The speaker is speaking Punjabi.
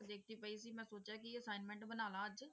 ਦੇਖਦੀ ਪਈ ਸੀ ਮੈਂ ਸੋਚਿਆ ਕਿ assignment ਬਣਾ ਲਵਾਂ ਅੱਜ